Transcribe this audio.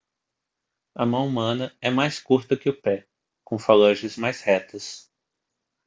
a mão humana é mais curta que o pé com falanges mais retas